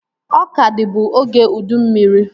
Ọka dịbu oge ụdị mmiri